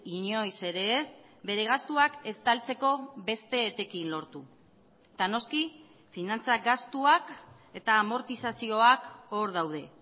inoiz ere ez bere gastuak estaltzeko beste etekin lortu eta noski finantza gastuak eta amortizazioak hor daude